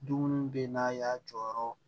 Dumuniw bɛ yen n'a y'a jɔyɔrɔ